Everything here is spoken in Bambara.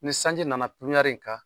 Ni sanji na na in kan